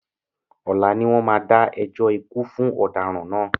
Ọlá ni wọn má dá ẹjọ́ ikú fún ọ̀daràn náà